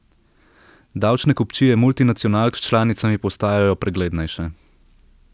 Davčne kupčije multinacionalk s članicami postajajo preglednejše.